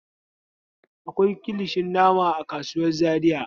Akwai kilishin nama a kasuwar Zariya.